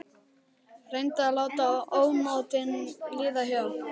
Reyndi að láta ónotin líða hjá.